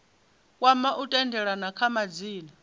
kwama u tendelana kha madzina